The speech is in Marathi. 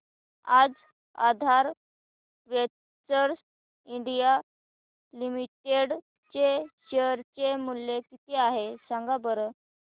आज आधार वेंचर्स इंडिया लिमिटेड चे शेअर चे मूल्य किती आहे सांगा बरं